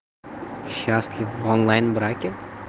счастлив в онлайн браке